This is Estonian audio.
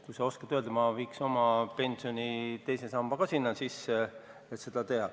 Kui sa oskad mõne öelda, siis ma viin oma pensioni teise samba ka sinna fondi.